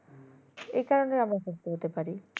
এই কারণে অনেক সুস্থ হতে পারি